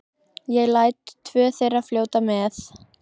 Ég læt tvö þeirra fljóta með.